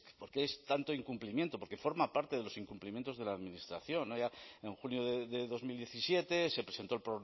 por qué es tanto incumplimiento porque forma parte de los incumplimientos de la administración allá en junio de dos mil diecisiete se presentó el